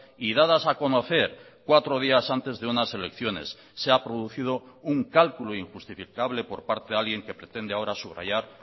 y dadas a conocer cuatro días antes de unas elecciones se ha producido un cálculo injustificable por parte de alguien que pretende ahora subrayar